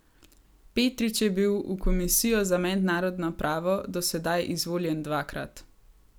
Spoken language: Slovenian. Petrič je bil v komisijo za mednarodno pravo do sedaj izvoljen dvakrat.